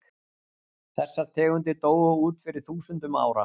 þessar tegundir dóu út fyrir þúsundum ára